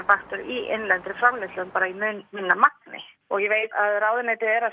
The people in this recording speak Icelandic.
í innlendri framleiðslu bara í mun minna magni og ég veit að ráðuneytið er að